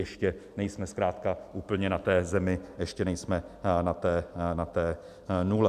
Ještě nejsme zkrátka úplně na té zemi, ještě nejsme na té nule.